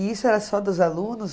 E isso era só dos alunos?